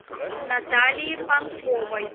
наталии панковой